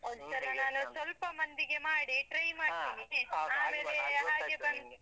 ನಾನು ಹೀಗೇನೆ, ಸ್ವಲ್ಪ ಮಂದಿಗೆ ಮಾಡಿ try ಬಂದ್.